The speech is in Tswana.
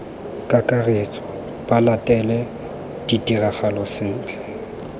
kakaretso ba latele ditiragalo sentle